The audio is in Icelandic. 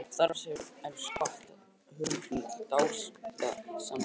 Starf hans hefur eflaust hvatt aðra höfunda til dáða, samsinnir Oddný.